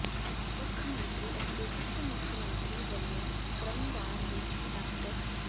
ਮੁੱਖ ਮੰਤਰੀ ਅਤੇ ਉਪ ਮੁੱਖ ਮੰਤਰੀ ਵੱਲੋਂ ਕ੍ਰਮਵਾਰ ਡੀਸੀ ਡਾ